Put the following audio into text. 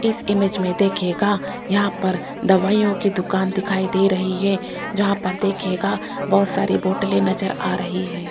इस इमेज में देखियेगा यहां पर दवाइयों की दुकान दिखाई दे रही है जहां पर देखियेगा बहुत सारी बोटले नजर आ रही है।